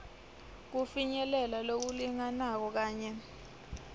kufinyelela lokulinganako kanye